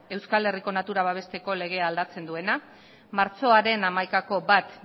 euskal herriko natura babesteko legea aldatzen duena martxoaren hamaikako bat